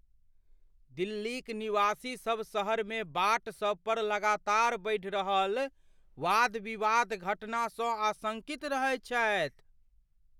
दिल्लीक निवासीसब शहरमे बाट सब पर लगातार बढ़ि रहल वाद विवाद घटनासँ आशंकित रहैत छथि।